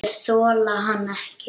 Þeir þola hann ekki.